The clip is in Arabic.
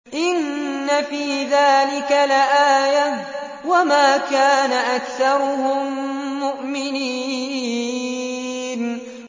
إِنَّ فِي ذَٰلِكَ لَآيَةً ۖ وَمَا كَانَ أَكْثَرُهُم مُّؤْمِنِينَ